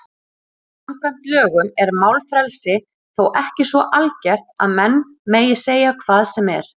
Samkvæmt lögum er málfrelsi þó ekki svo algert að menn megi segja hvað sem er.